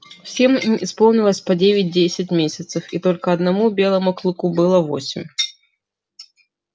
всем им исполнилось по девять десять месяцев и только одному белому клыку было восемь